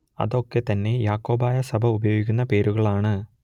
അത് ഒക്കെ തന്നെ യാക്കോബായ സഭ ഉപയോഗിക്കുന്ന പേരുകൾ ആണ്